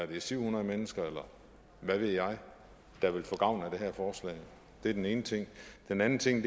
det er syv hundrede mennesker eller hvad ved jeg der vil få gavn af det her forslag det er den ene ting den anden ting